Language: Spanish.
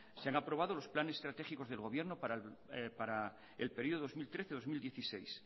se han aprobado los planes estratégicos del gobierno para el período dos mil trece dos mil dieciséis